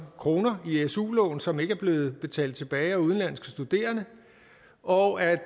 kroner i su lån som ikke er blevet betalt tilbage af udenlandske studerende og at